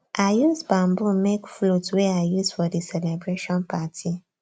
i use bamboo make flute wey i use for di celebration party